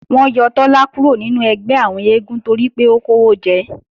Wọ́n yọ Tọ́lá kúrò nínú ẹgbẹ́ àwọn eégún toripé ó kówó jẹ